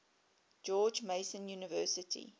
george mason university